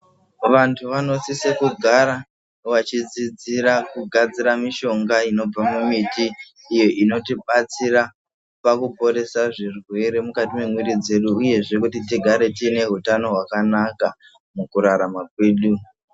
Vanthu vanosise kugara , vachidzidzira kugadzira mishonga inobva mumiti, iyo inotibatsira pakuporesa zvirwere mukati mwemwiri dzedu ,uyehe kuti tigare tiine hutano hwakanaka mukurarama kwedu.